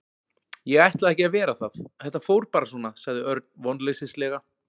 Ég ætlaði ekki að vera það, þetta fór bara svona sagði Örn vonleysislega.